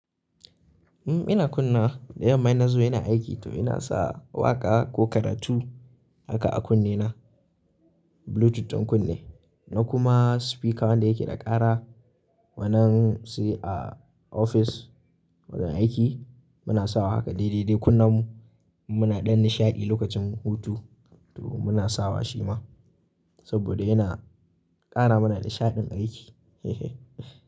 Umm ina kunnawa, da yamma ina zuwa ina aiki to ina sa waƙa ko karatu haka a kunne na bluetooth ɗin kunne na kuma speaker wanda yake da ƙara wannan sai a office wajen aiki muna sawa haka dai dai dai kunnan mu muna ɗan nishaɗi lokacin hutu to muna sawa shi ma saboda yana ƙara mana nishaɗin aiki hehe.